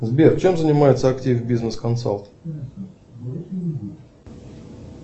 сбер чем занимается актив бизнес консалт